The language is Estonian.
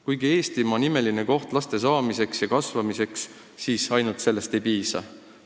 Kuigi Eestimaa on imeline koht laste saamiseks ja kasvamiseks, ainult sellest ei piisa.